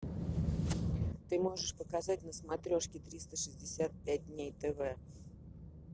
ты можешь показать на смотрешке триста шестьдесят пять дней тв